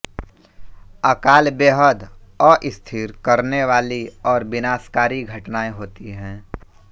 अकाल बेहद अस्थिर करने वाली और विनाशकारी घटनाएं होती है